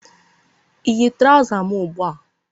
ịyi traụza m ugbu a?